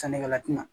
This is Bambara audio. Sannikɛla ti na